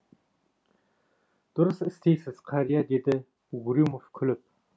дұрыс істейсіз қария деді угрюмов күліп